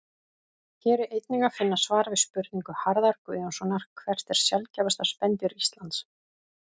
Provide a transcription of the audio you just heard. Hér er einnig að finna svar við spurningu Harðar Guðjónssonar Hvert er sjaldgæfasta spendýr Íslands?